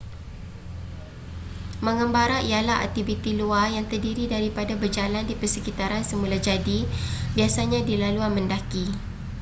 mengembara ialah aktiviti luar yang terdiri daripada berjalan di persekitaran semulajadi biasanya di laluan mendaki